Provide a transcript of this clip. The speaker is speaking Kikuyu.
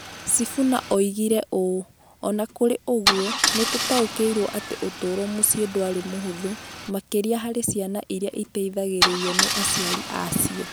Sifuna oigire ũũ: "O na kũrĩ ũguo, nĩ tũtaũkĩirũo atĩ ũtũũro mũciĩ ndwarĩ mũhũthũ, makĩria harĩ ciana iria iteithagĩrĩrio nĩ aciari a cio".